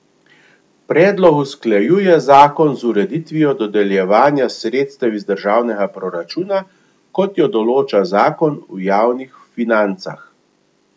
Predlog usklajuje zakon z ureditvijo dodeljevanja sredstev iz državnega proračuna, kot jo določa zakon o javnih financah.